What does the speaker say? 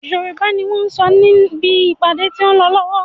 Yorùbá ni wọn sọ níbi ìpàdé tí a lọ lànà.